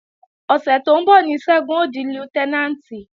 Ọ̀sẹ̀ tó ń bọ̀ ní Ṣẹ́gun ó di Lútẹ́nàǹtì